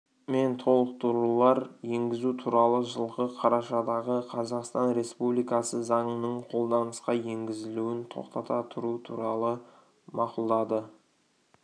мен толықтырулар енгізу туралы жылғы қарашадағы қазақстан республикасы заңының қолданысқа енгізілуін тоқтата тұру туралы мақұлдады